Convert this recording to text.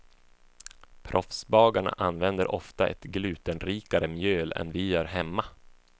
Proffsbagarna använder ofta ett glutenrikare mjöl än vi gör hemma.